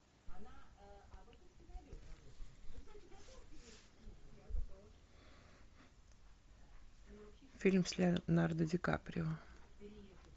фильм с леонардо ди каприо